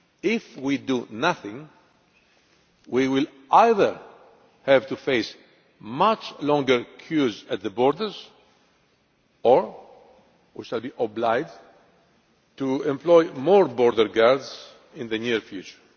If we do nothing, we will either have to face much longer queues at the borders or we shall be obliged to employ more border guards in the near future.